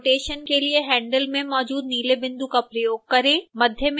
rotation के लिए handle में मौजूद नीले बिंदु का प्रयोग करें